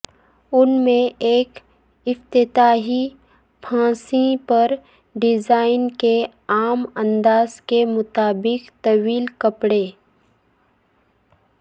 ان میں ایک افتتاحی پھانسی پر ڈیزائن کے عام انداز کے مطابق طویل کپڑے